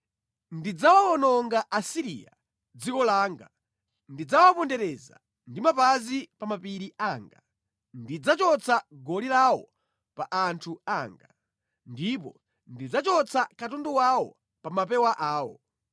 Ndidzawawononga Asiriya mʼdziko langa; ndidzawapondereza ndi mapazi pa mapiri anga; ndidzachotsa goli lawo pa anthu anga, ndipo ndidzachotsa katundu wawo pa mapewa awo.”